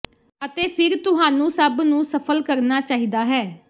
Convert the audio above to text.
ਅਤੇ ਫਿਰ ਤੁਹਾਨੂੰ ਸਭ ਨੂੰ ਸਫ਼ਲ ਕਰਨਾ ਚਾਹੀਦਾ ਹੈ